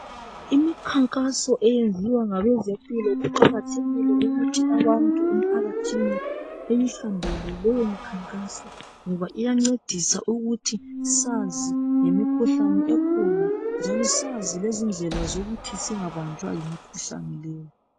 imikhankaso eyenziwa ngabezimpilo kuqakathekile ukuthi abantu emphakathini beyuhambele lowumkhankaso ngoba iyancedisa ukuba sazi ngemikhuhlane esikhona ncono sazi izindlela zokuti singabanjwa yimikhuhlane le